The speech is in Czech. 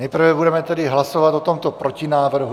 Nejprve budeme tedy hlasovat o tomto protinávrhu.